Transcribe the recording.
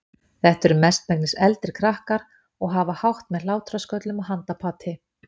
Þetta eru mestmegnis eldri krakkar og hafa hátt með hlátrasköllum og handapati.